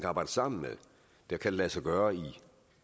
arbejde sammen med det kan lade sig gøre i